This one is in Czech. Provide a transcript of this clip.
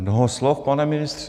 Mnoho slov, pane ministře.